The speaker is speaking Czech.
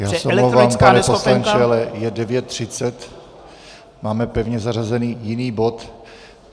Já se omlouvám, pane poslanče, ale je 9.30, máme pevně zařazený jiný bod.